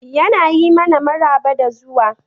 Yana yi mana maraba da zuwa.